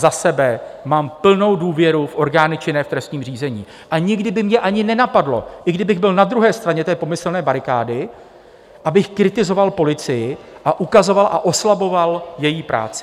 Za sebe mám plnou důvěru v orgány činné v trestním řízení a nikdy by mě ani nenapadlo, i kdybych byl na druhé straně té pomyslné barikády, abych kritizoval policii a ukazoval a oslaboval její práci.